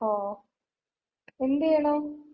ഓ. എന്ത്‌ ചെയ്യണു?